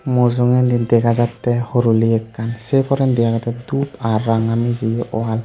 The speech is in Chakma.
mujungedi dega jatte horoli ekkan se porendi agede dhub ar ranga mijeyi wall.